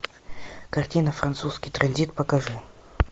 картина французский транзит покажи